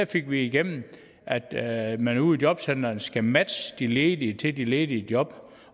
fik vi igennem at man ude i jobcentrene skal matche de ledige til de ledige job